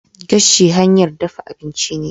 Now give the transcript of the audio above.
Gashi hanyar dafa abinci ne.